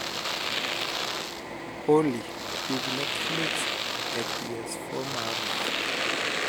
olly tug netflix e p.s. four mara